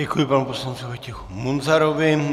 Děkuji panu poslanci Vojtěchu Munzarovi.